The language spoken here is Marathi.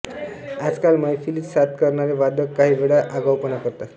आजकाल मैफलीत साथ करणारे वादक काही वेळा आगाऊपणा करतात